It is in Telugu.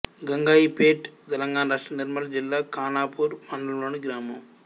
గంగాయిపేట్ తెలంగాణ రాష్ట్రం నిర్మల్ జిల్లా ఖానాపూర్ మండలంలోని గ్రామం